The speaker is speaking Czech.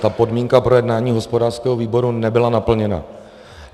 Ta podmínka projednání hospodářského výboru nebyla naplněna.